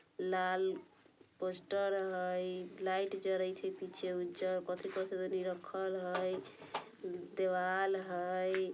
लाल poster हइ light जरइथ ह पीछे में राखल हइ दीवाल दीवा हइ।